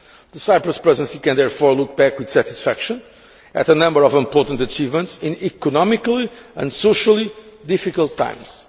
The Cyprus Presidency can therefore look back with satisfaction at a number of important achievements in economically and socially difficult times.